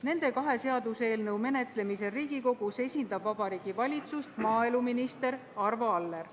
Nende kahe seaduseelnõu menetlemisel Riigikogus esindab Vabariigi Valitsust maaeluminister Arvo Aller.